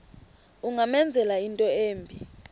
ungamenzela into embi